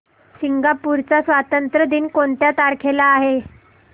Singapore चा स्वातंत्र्य दिन कोणत्या तारखेला आहे